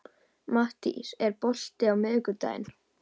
Mattías, er bolti á miðvikudaginn?